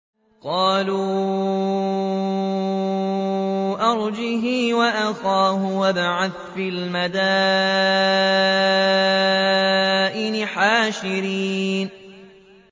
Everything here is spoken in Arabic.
قَالُوا أَرْجِهْ وَأَخَاهُ وَابْعَثْ فِي الْمَدَائِنِ حَاشِرِينَ